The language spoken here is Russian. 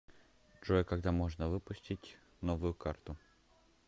джой когда можно выпустить новую карту